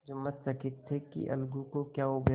जुम्मन चकित थे कि अलगू को क्या हो गया